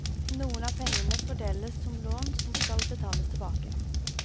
Noen av pengene fordeles som lån som skal betales tilbake.